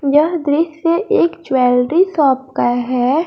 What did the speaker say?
यह दृश्य एक ज्वेलरी शॉप का है।